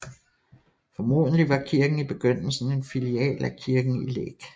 Formodentlig var kirken i begyndelsen en filial af kirken i Læk